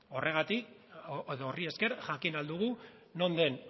horri esker jakin ahal dugu non den